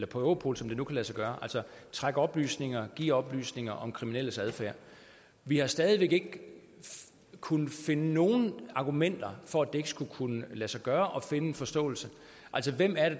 på europol som det nu kan lade sig gøre så de trække oplysninger give oplysninger om kriminelles adfærd vi har stadig væk ikke kunnet finde nogen argumenter for at det ikke skulle kunne lade sig gøre at finde en forståelse hvem